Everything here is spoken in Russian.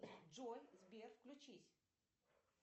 джой сбер включись